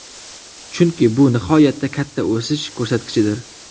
Chunki bu nihoyatda katta o‘sish ko‘rsatkichidir.